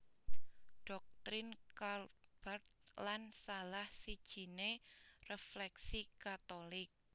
Doktrin Karl Barth lan salah sijiné refleksi Katolik